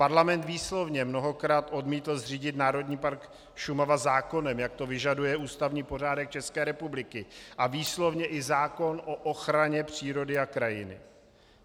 Parlament výslovně mnohokrát odmítl zřídit Národní park Šumava zákonem, jak to vyžaduje ústavní pořádek České republiky a výslovně i zákon o ochraně přírody a krajiny.